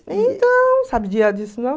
Então, sabe disso não?